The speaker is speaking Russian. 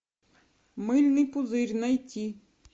мыльный пузырь найти